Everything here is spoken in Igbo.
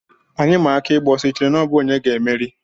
Anyị maa aka ịgba ọsọ, I chere na ọ bụ onye ga-emeri?